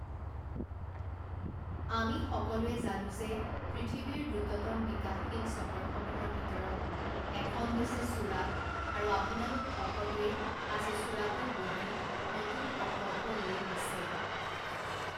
আমি সকলোৱে জানো যে পৃথিৱীৰ দ্ৰুততম বিকাশশীল চহৰসমূহৰ ভিতৰত এখন হৈছে চুৰাট আৰু আপোনালোক সকলোৱে আজি চুৰাটত বহি নতুন সংকল্প লৈআছে।